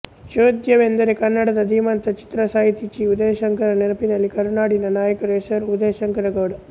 ಚೋದ್ಯವೆಂದರೆ ಕನ್ನಡದ ಧೀಮಂತ ಚಿತ್ರಸಾಹಿತಿ ಚಿ ಉದಯಶಂಕರರ ನೆನಪಿನಲ್ಲಿ ಕರುನಾಡಿನ ನಾಯಕನ ಹೆಸರು ಉದಯಶಂಕರಗೌಡ